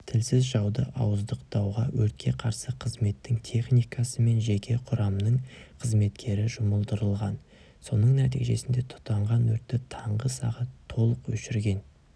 тілсіз жауды ауыздықтауға өртке қарсы қызметтің техникасы мен жеке құрамның қызметкері жұмылдырылған соның нәтижесінде тұтанған өртті таңғы сағат толық өшірген